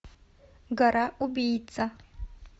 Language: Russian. гора убийца